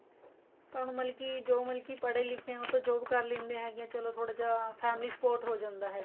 ਪਰ ਹੁਣ ਮਤਲਬ ਕੀ ਜੋ ਮਤਲਬ ਕੀ ਪੜੇ ਲਿੱਖ਼ੇ ਉਹ ਤਾਂ job ਕਰ ਲੈਣੇ ਹੈਗੇ ਚਲੋਂ ਥੋੜਾ ਜਾ family support ਹੋ ਜਾਂਦਾ ਹੈਗਾ